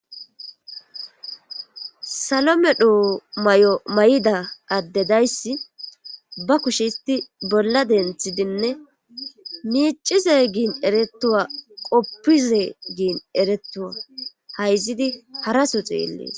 salomedho may7o may7ida addedayssi ba kushe isti bolla denthidinne miicize giin eretuwa qoppize giin eretuwa hayzidi haraso xeellees